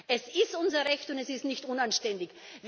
Es ist unser Recht, und es ist nicht unanständig.